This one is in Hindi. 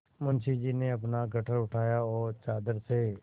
मुंशी जी ने अपना गट्ठर उतारा और चादर से